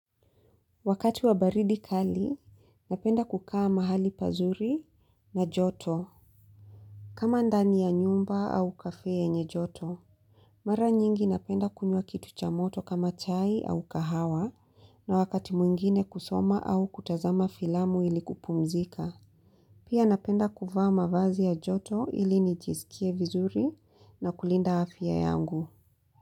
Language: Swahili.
Wakati wa baridi kali, napenda kukaa mahali pazuri na joto. Kama ndani ya nyumba au kafe yenye joto. Mara nyingi napenda kunywa kitu cha moto kama chai au kahawa na wakati mwingine kusoma au kutazama filamu ili kupumzika. Pia napenda kvfaa mavazi ya joto ili nijisikie vizuri na kulinda afya yangu.